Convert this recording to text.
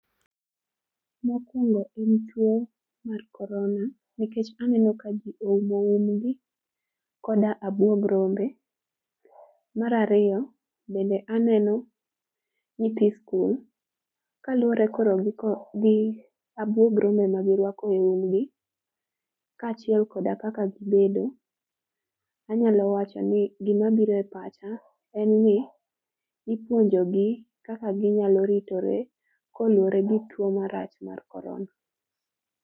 mokuongo en tuo mar corona nikech aneno ka jii oumo umgi kod abuog rombe marariyo bende aneno nyithi school kaluwore koro gi abuog rombe magirwako e umgi kaachiel kod kaka gibedo anyalo wacho ni gimabiro e pacha en ni ipuonjo gi kaka ginyalo ritore kaluwore gi tuo marach mar corona